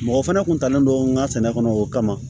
Mɔgɔ fana tun talen don n ka sɛnɛ kɔnɔ o kama